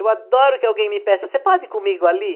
Eu adoro que alguém me peça, você pode ir comigo ali?